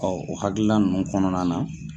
o hakilina ninnu kɔnɔna na